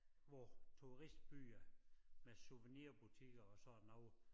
Hvor turistbyer med souvenirbutikker og sådan noget